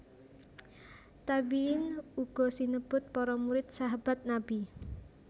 Tabiin uga sinebut para murid Sahabat Nabi